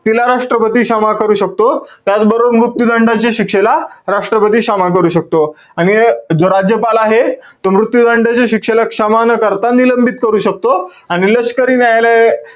तिला राष्ट्रपती क्षमा करू शकतो. त्याचबरोबर मृत्यू दंडाची शिक्षेला राष्ट्रपती क्षमा करू शकतो. आणि हे जो राज्यपाल आहे. तो मृत्यू दंडाच्या शिक्षेला क्षमा न करता निलंबित करू शकतो. आणि लष्करी न्यायालय,